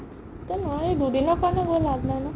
এতিয়া নোৱাৰি দুদিনৰ কাৰণে গৈ লাভ নাই ন